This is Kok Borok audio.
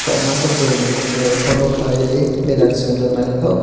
kamasa bwri ni tai photo khalai e benner sungjaknai.